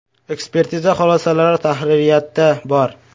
(Ekspertiza xulosalari tahririyatda bor).